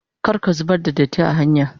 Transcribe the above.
Kar ka zubar da datti are hanya.